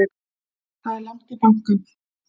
Það er langt í bankann!